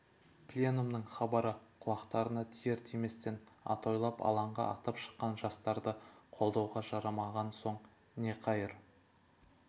пленумның хабары құлақтарына тиер-тиместен атойлап алаңға атып шыққан жастарды қолдауға жарамаған соң не қайыр